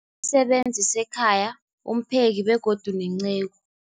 Sebenzi sekhaya, umpheki, begodu nenceku.